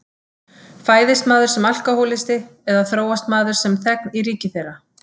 Fæðist maður sem alkohólisti eða þróast maður sem þegn í ríki þeirra?